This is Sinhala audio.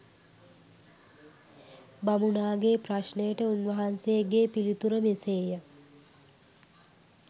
බමුණාගේ ප්‍රශ්නයට උන්වහන්සේගේ පිළිතුර මෙසේය.